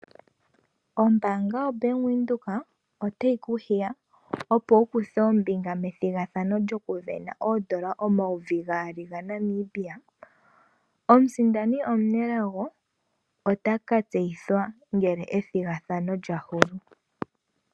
Ombaanga yaVenduka otayi ku hiwa opo wu kuthe ombinga methigathano lyokusindana oodola dhaNamibia omayovi gaali . Omusindani omunelago otaka tseyithwa ngele ethigathano lya hulu.